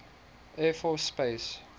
air force space